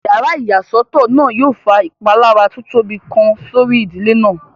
Yàrá ìyàsọ́tọ̀ náà yóò fa ìpalára tó tóbi kan sórí ìdílé náà